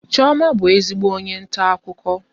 Chioma bụ ezigbo onye nta akụkọ